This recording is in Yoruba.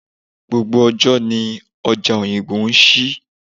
Gbogbo ọjọ́ ni ọjà Oyingbo ń ṣí.